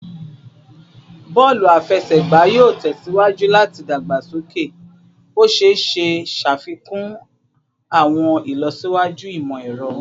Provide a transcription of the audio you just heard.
Bọọlu afẹsẹgba yoo tẹsiwaju lati dagbasoke, o ṣee ṣe ṣafikun awọn ilọsiwaju imọ-ẹrọ